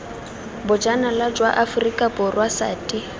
bojanala jwa aforika borwa sati